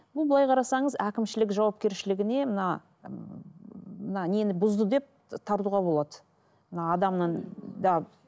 бұл былай қарасаңыз әкімшілік жауапкершілігіне мына мына нені бұзды деп тартуға болады мына адамның да